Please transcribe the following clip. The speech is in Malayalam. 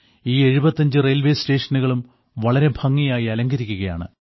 ഈ 75 റെയിൽവേ സ്റ്റേഷനുകളും വളരെ ഭംഗിയായി അലങ്കരിക്കുകയാണ്